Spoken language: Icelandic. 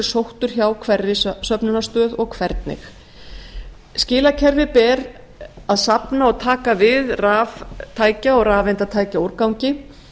sóttur hjá hverri söfnunarstöð og hvernig skilakerfi ber að safna og taka við raftækja og rafeindatækjaúrgangi